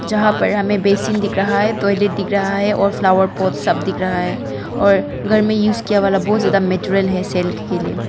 जहां पर हमें बेसिन दिख रहा है टॉयलेट दिख रहा है और फ्लावर पोट सब दिख रहा है और घर में यूज किया हुआ बहोत ज्यादा मटेरियल है सेल के लिए।